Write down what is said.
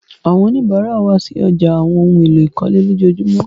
Àwọn oníbàrà wa sí ọ̀já awọn ohun èlò ìkọ́lé lọjọọjumọ.